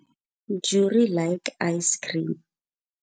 Jurie like icecream.